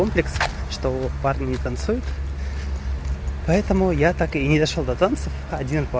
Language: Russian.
что парни танцуют поэтому я так и не дошёл до танцев